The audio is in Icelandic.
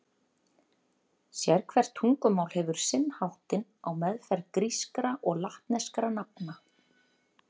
Sérhvert tungumál hefur sinn háttinn á meðferð grískra og latneskra nafna.